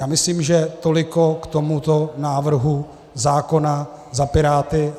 Já myslím, že toliko k tomuto návrhu zákona za Piráty.